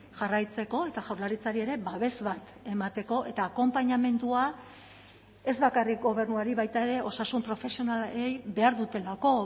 jarraitzeko eta jaurlaritzari ere babes bat emateko eta akonpainamendua ez bakarrik gobernuari baita ere osasun profesionalei behar dutelako